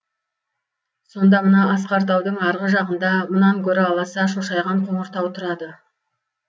сонда мына асқар таудың арғы жағында мұнан гөрі аласа шошайған қоңыр тау тұрады